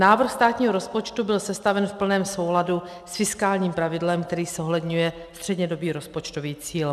Návrh státního rozpočtu byl sestaven v plném souladu s fiskálním pravidlem, který zohledňuje střednědobý rozpočtový cíl.